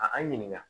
A ɲininka